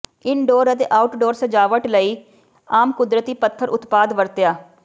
indoor ਅਤੇ outdoor ਸਜਾਵਟ ਲਈ ਆਮ ਕੁਦਰਤੀ ਪੱਥਰ ਉਤਪਾਦ ਵਰਤਿਆ